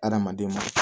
Adamadenw ma